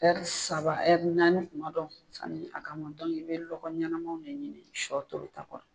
Ɛri saba naani kuma dɔ sanni a ka mɔ i bɛ lɔgɔ ɲanamaw de ɲini sɔ tobita kɔrɔ